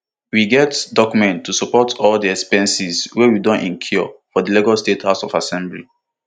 we get document to support all di expenses wey we we don incur for lagos state house of assembly